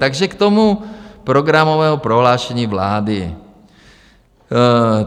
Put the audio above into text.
Takže k tomu programovému prohlášení vlády.